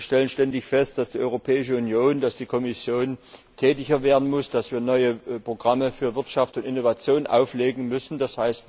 Wir stellen ständig fest, dass die Europäische Union, die Kommission, stärker tätig werden muss, dass wir neue Programme für Wirtschaft und Innovation auflegen müssen, d.